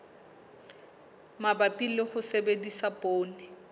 mabapi le ho sebedisa poone